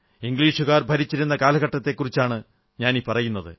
ഇംഗ്ലീഷുകാർ ഭരിച്ചിരുന്ന കാലഘട്ടത്തെക്കുറിച്ചാണ് ഞാനീ പറയുന്നത്